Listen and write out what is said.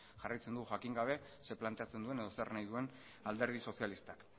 jarraitzen dugu jakin gabe zer planteatzen duen edo zer nahi duen alderdi sozialistak